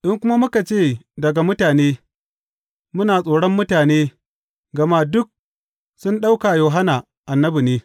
In kuma muka ce, Daga mutane,’ muna tsoron mutane, gama duk sun ɗauka Yohanna annabi ne.